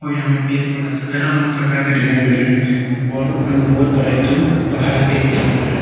यहां में पेड़ पौधा सब जगह अलग अलग प्रकार का दिखाई मिल रहा है और ऊपर में बहोत बड़ा एक ठो पहाड़ दिखने को मिल रहा है।